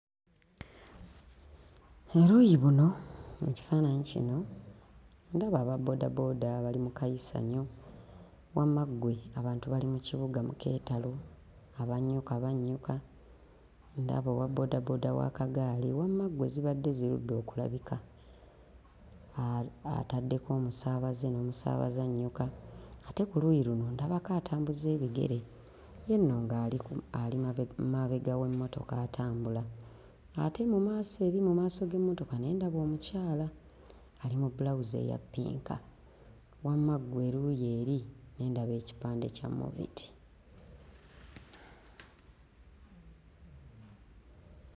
Oluuyi buno mu kifaananyi kino ndaba ababboodabooda bali mu kayisanyo, wamma ggwe abantu bali mu kibuga mu keetalo, abannyuka bannyuka, ndaba owabboodabooda w'akagaali, wamma ggwe zibadde zirudde okulabika, ataddeko omusaabaze n'omusaabaze annyuka ate ku luuyi luno ndabako atambuza ebigere; ye nno ng'ali ku ali mabe... mabega w'emmotoka atambula ate mu maaso eri mu maaso g'emmotoka ne ndaba omukyala ali mu bbulawuzi eya ppinka, wamma ggwe eruuyi eri ne ndaba ekipande kya moviti.